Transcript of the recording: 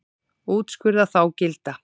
Úrskurða þá gilda.